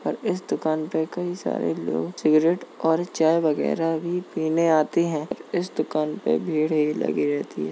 और इस दुकान पे कई सारे लोग सिगरेट और चाय वगैरह भी पीने आते हैं। इस दुकान पे भीड़ ही लगी रहती है।